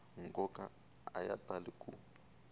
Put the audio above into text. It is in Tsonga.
nkoka a ya tali ku